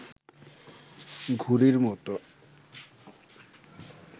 ঘুড়ির মত